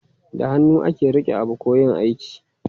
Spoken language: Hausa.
Da hannu ake rike abu ko yin aiki.